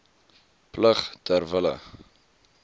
plig ter wille